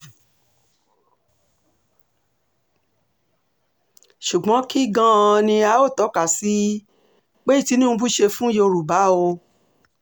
ṣùgbọ́n kí gan-an ni a óò tọ́ka sí um pé tinubu ṣe fún yorùbá o um